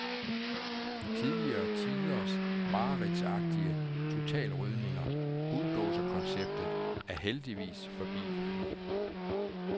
Tidligere tiders mareridtsagtige totalrydninger, bulldozerkonceptet, er heldigvis forbi.